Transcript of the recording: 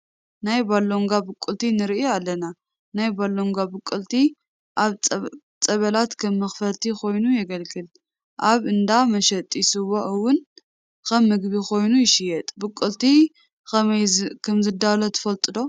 ናይ ባሎንጓ ቡቅልቲ ንርኢ ኣለና፡፡ ናይ ባሎንጓ ብቁልቲ ኣብ ፀበላት ከም መኽፈልቲ ኮይኑ የገልግል፡፡ ኣብ እንዳ መሸጢ ስዋ እዋን ከም ምግቢ ኮይኑ ይሽየጥ፡፡ ብቑልቲ ከመይ ከምዝዳሎ ትፈልጡ ዶ?